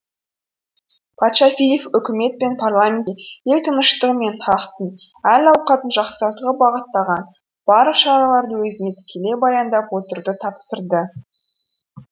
патша филипп үкімет пен парламентке ел тыныштығы мен халықтың әл ауқатын жақсартуға бағытталған барлық шараларды өзіне тікелей баяндап отыруды тапсырды